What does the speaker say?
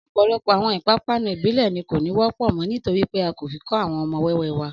Ọ̀pọ̀lọpọ̀ àwọn ìpápanú ìbílẹ̀ ni kò ní wọ́pọ̀ mọ́ nítorí pé a kò fi kọ́ àwọn ọmọ wẹ́wẹ́ wa